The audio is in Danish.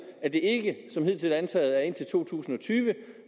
at det ikke som hidtil antaget er indtil to tusind og tyve